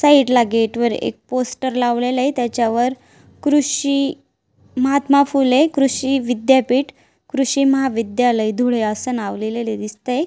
साइडला गेट वर एक पोस्टर लावलेल आहे त्याच्यावर कृषी महात्मा फुले कृषी विदयापिठ कृषी महाविध्यालय धुळे अस नाव लिहलेल दिसतय.